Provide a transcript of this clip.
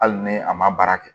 Hali ni a ma baara kɛ